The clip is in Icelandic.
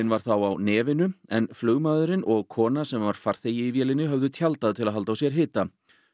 var þá á nefinu en flugmaðurinn og kona sem var farþegi höfðu tjaldað til að halda á sér hita